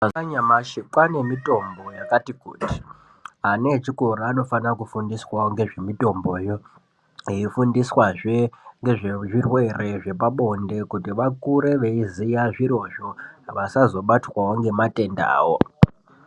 Mazuva anyamashi kwaane mitombo yakati kuti ana echikoro anofana kudzidziswa ngezvemitombo yoo eifundiswa zvee ngezve zvirwere zvepa bonde kuti vakure veiziva zviro zvoo vasazobatwawo ngematenda ayo.